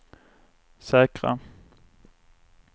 säkra